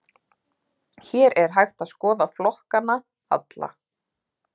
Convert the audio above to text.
Hér er hægt að skoða flokkana alla.